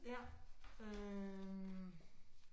Ja, øh